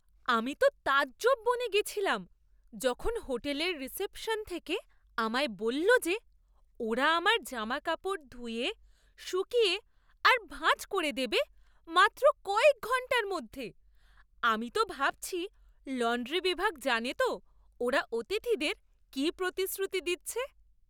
আমি তো তাজ্জব বনে গেছিলাম যখন হোটেলের রিসেপশন থেকে আমায় বলল যে ওরা আমার জামাকাপড় ধুয়ে, শুকিয়ে আর ভাঁজ করে দেবে মাত্র কয়েক ঘণ্টার মধ্যে! আমি তো ভাবছি লন্ড্রি বিভাগ জানে তো ওরা অতিথিদের কী প্রতিশ্রুতি দিচ্ছে!